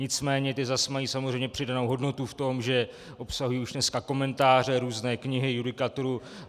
Nicméně ty zase mají samozřejmě přidanou hodnotu v tom, že obsahují už dneska komentáře, různé knihy, judikaturu.